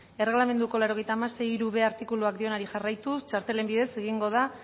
erregelamenduko laurogeita hamasei puntu hirub artikuluak dionari jarraituz txartelen bidez egingo da